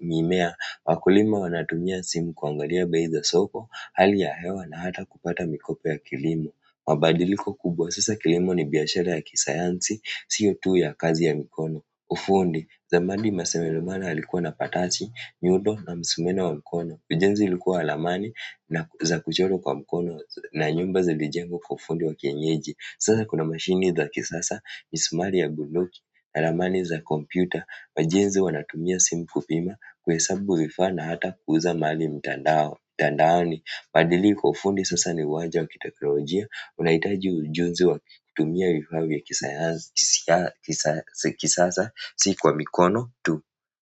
mimea wakulima wanatumia simu kuangalia bei za soko, hali ya hewa na hata kupata mikopo ya kilimo mabadiliko kubwa sasa kilimo ni biashara ya kisayansi siyo tu ya kazi ya mikono ufundi zamani maseremala walikua na patasi nyundo na msumeno wa mkono. Ujenzi ulikuwa wa lamani na za kuchorwa kwa mkono na nyumba zilijengwa kwa ufundi wa kienyeji. Sasa kuna mashini za kisasa, misumari ya bunduki, alamani za kompyuta. Majenzi wanatumia simu kupima kuhesabu vifaa na hata kuuza mali mtandaoni. Madiliko ya ufundi sasa ni uwanja wa kiteknolojia, unahitaji ujuzi wakutumia vifaa vya kisasa, si kwa mikono tu.